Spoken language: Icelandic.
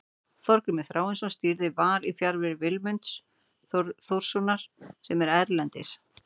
Þorgrímur Þráinsson stýrði Val í fjarveru Willums Þórssonar sem er erlendis.